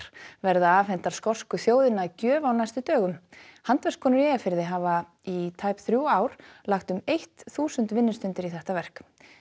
verða afhentar skosku þjóðinni að gjöf á næstu dögum handverkskonur í Eyjafirði hafa í tæp þrjú ár lagt um eitt þúsund vinnustundir í þetta verk